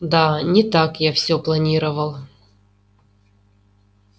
да не так я всё планировал